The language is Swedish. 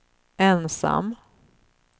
ensam